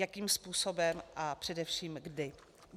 Jakým způsobem a především kdy?